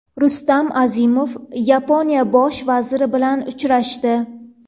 Rustam Azimov Yaponiya bosh vaziri bilan uchrashdi.